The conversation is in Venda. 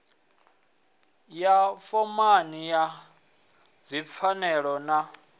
wa fomala wa dzipfanelo na